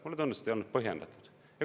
Mulle tundus, et see ei olnud põhjendatud.